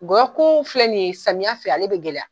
Ngɔyɔ kun filɛ nin ye, samiya fɛ ale bɛ gɛlɛya.